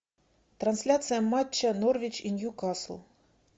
трансляция матча норвич и ньюкасл